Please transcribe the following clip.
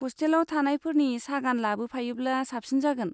हस्टेलाव थानायफोरनि सागान लाबोफायोब्ला साबसिन जागोन।